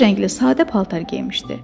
Boz rəngli sadə paltar geyinmişdi.